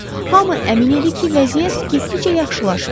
Hamı əmin idi ki, vəziyyət getdikcə yaxşılaşır.